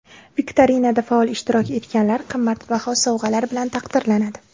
Viktorinada faol ishtirok etganlar qimmatbaho sovg‘alar bilan taqdirlanadi.